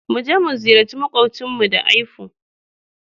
Mu je mu ziyarci maƙwabcinmu da aifu.